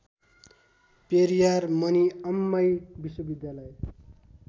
पेरियार मनिअम्मई विश्वविद्यालय